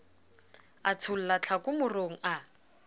a tshola tlhako morong a